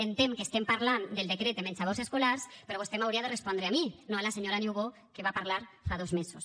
entenc que estem parlant del decret de menjadors escolars però vostè m’hauria de respondre a mi no a la senyora niubó que va parlar fa dos mesos